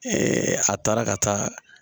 a taara ka taa